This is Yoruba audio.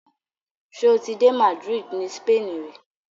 Ṣoti dé Madrid ni Spain ri?